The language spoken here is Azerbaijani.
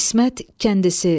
İsmət kəndisi.